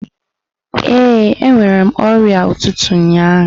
Ee, enwere m ọrịa ụtụtụ ụnyaahụ.